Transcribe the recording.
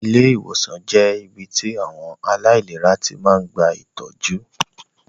Ilé ìwòsàn jẹ́ ibí tí àwọn aláìlera tí máa ń gba ìtọ́jú